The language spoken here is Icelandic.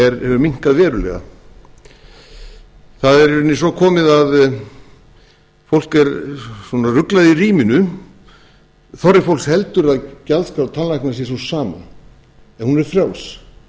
hefur minnkað verulega það er í rauninni svo komið að fólk er svona ruglað í ríminu þorri fólks heldur að gjaldskrá tannlækna sé sú sama en hún er